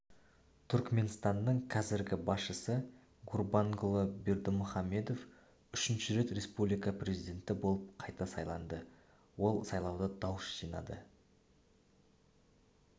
түркіменстанның қазіргі басшысы гурбангулы бердімұхамедов үшінші рет республика президенті болып қайта сайланды ол сайлауда дауыс жинады